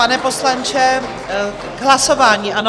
Pane poslanče, k hlasování, ano?